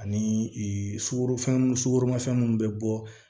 Ani sugoro fɛnw sugoromafɛn munnu be bɔ